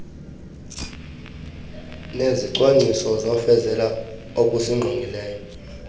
nezicwangciso zofezekiso okusingqongileyo